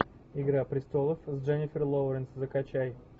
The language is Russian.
игра престолов с дженифер лоуренс закачай